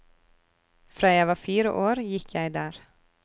Fra jeg var fire år, gikk jeg der.